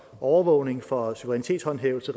overvågning for suverænitetshåndhævelse